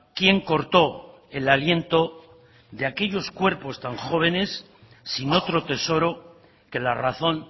quién corto el aliento de aquellos cuerpos tan jóvenes sin otro tesoro que la razón